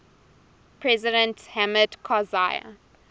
president hamid karzai